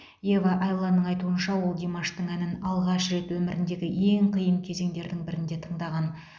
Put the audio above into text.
ева айланның айтуынша ол димаштың әнін алғаш рет өміріндегі ең қиын кезеңдердің бірінде тыңдаған